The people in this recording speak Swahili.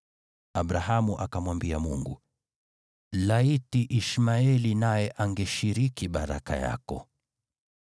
Abrahamu akamwambia Mungu, “Laiti Ishmaeli naye angeshiriki baraka yako!”